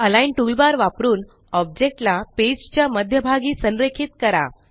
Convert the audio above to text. align toolbar वापरून object ला page च्या मध्यभागी संरेखित करा